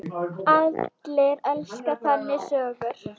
Allir elska þannig sögur.